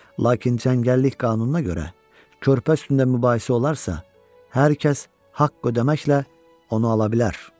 Lakin çəngəllik qanununa görə körpə üstündə mübahisə olarsa, hər kəs haqq ödəməklə onu ala bilər.